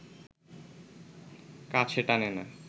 কাছে টানে না